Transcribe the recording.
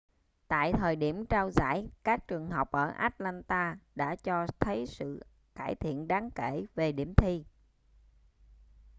tại thời điểm trao giải các trường học ở atlanta đã cho thấy sự cải thiện đáng kể về điểm thi